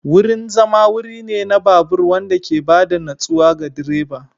Wurin zama wuri ne na babur wanda ke ba da natsuwa ga direba.